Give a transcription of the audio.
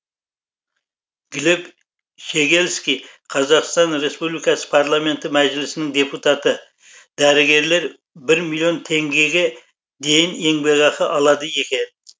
глеб щегельский қазақстан республикасы парламенті мәжілісінің депутаты дәрігерлер бір миллион теңгеге дейін еңбекақы алады екен